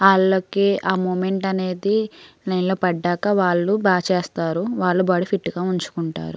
ఆళ్ళకి ఆ మూమెంట్ అనేది నీల్లుపట్టాక వాళ్ళు బా చేస్తారు వాళ్ల బాడి ఫిట్ గా వుంచుకుంటారు.